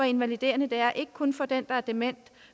invaliderende det er ikke kun for den der er dement